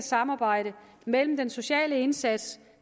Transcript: samarbejdet mellem den sociale indsats